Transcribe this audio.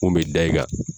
Mun bɛ da i kan